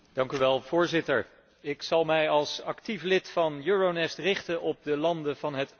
Ik zal mij als actief lid van Euronest richten op de landen van het oostelijk partnerschap.